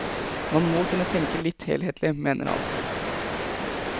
Man må kunne tenke litt helhetlig, mener han.